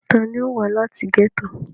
ta ni ó wá láti gẹ́tò?